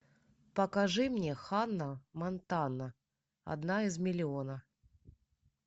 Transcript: покажи мне ханна монтана одна из миллиона